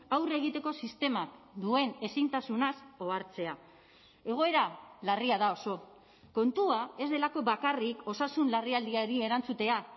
aurre egiteko sistemak duen ezintasunaz ohartzea egoera larria da oso kontua ez delako bakarrik osasun larrialdiari erantzutea